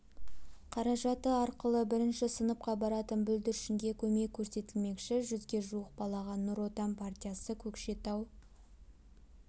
қаражаты арқылы бірінші сыныпқа баратын бүлдіршінге көмек көрсетілмекші жүзге жуық балаға нұр отан партиясы көкшетау